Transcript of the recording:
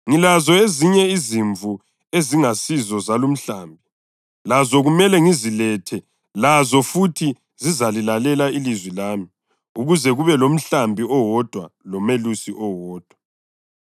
Ngilazo ezinye izimvu ezingasizo zalumhlambi. Lazo kumele ngizilethe. Lazo futhi zizalilalela ilizwi lami ukuze kube lomhlambi owodwa lomelusi oyedwa.